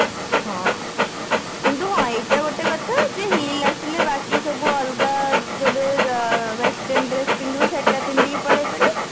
ହଁ କିନ୍ତୁ ହଁ ଏଇଟା ଗୋଟେ କଥା ଯେ heel ଆସିଲେ ବାକି ସବୁ ଯେବେ ଆଁ ଅଲଗା western dress ପିନ୍ଧିବୁ ସେଇଟା ପିନ୍ଧିକି ପଳେଇ ପାରିବୁ